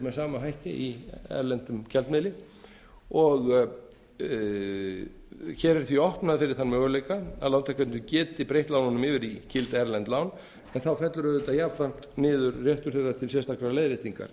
með sama hætti í erlendum gjaldmiðli hér er því opnað fyrir þann möguleika að lántakendur geti breytt lánunum yfir í gild erlend lán þá fellur auðvitað jafnframt niður réttur þeirra til sérstakrar leiðréttingar